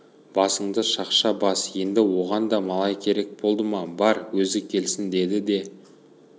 басыңды шақша бас енді оған да малай керек болды ма бар өзі келсін деді де